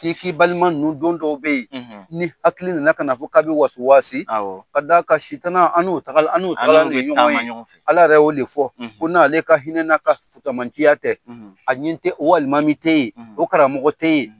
K'i k'i balima ninnu don dɔw be ye, n'i hakili nana kan'a fɔ k'a bi wasuwaasi, awɔ ka d'a kan sitana, an' n'o tagal an n'o taalan de ye ɲɔgɔn ye. Ala yɛrɛ y'o de fɔ. ko n'ale ka hinɛ n'a ka fusamantiya tɛ, a ɲi te o alimami te ye, o karamɔgɔ te ye.